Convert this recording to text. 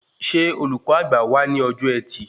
Ṣé olùkọ́ àgbà wá ní ọjọ ẹtì?